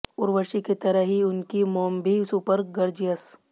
उर्वशी की तरह ही उनकी मॉम भी हैं सुपर गॉर्जियस